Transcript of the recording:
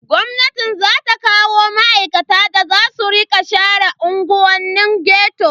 Gwamnati za ta kawo ma'aikata da za su rika share unguwannin ghetto.